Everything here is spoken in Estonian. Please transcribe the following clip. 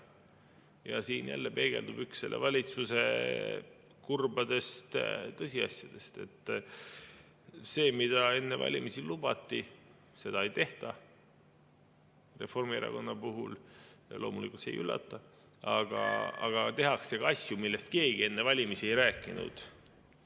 Ja siin jälle peegeldub üks selle valitsuse kurbadest tõsiasjadest: seda, mida enne valimisi lubati, ei tehta – Reformierakonna puhul loomulikult see ei üllata –, aga tehakse asju, millest keegi enne valimisi ei rääkinud.